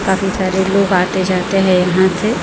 काफी सारे लोग आते जाते हैं यहां से--